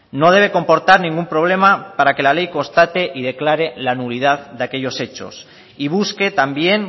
no debe comportar ningún problema para que la ley constate y declare la nulidad de aquellos hechos y busque también